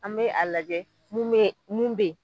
An be a lajɛ mun be yen.